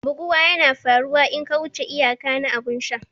Buguwa yana faruwa in ka wuce iyaka na abun sha.